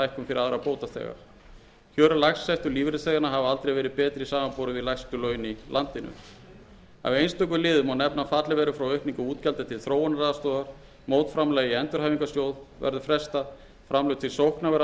aðra bótaþega kjör lægst settu lífeyrisþeganna hafa aldrei verið betri samanborið við lægstu laun í landinu af einstökum liðum má nefna að fallið verður frá aukningu útgjalda til þróunaraðstoðar mótframlagi í endurhæfingarsjóð verður frestað framlög til sókna verða